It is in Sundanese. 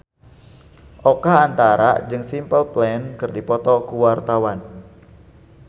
Oka Antara jeung Simple Plan keur dipoto ku wartawan